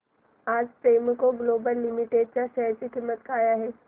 आज Premco global limited च्या share ची किंमत काय आहे